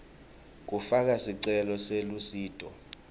kufaka sicelo selusito